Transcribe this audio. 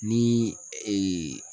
Ni